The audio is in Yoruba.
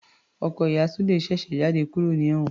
Ọkọ ìyá Sule ṣèṣe jáde kúrò ní ewon